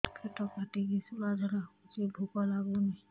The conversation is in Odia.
ପେଟ କାଟିକି ଶୂଳା ଝାଡ଼ା ହଉଚି ଭୁକ ଲାଗୁନି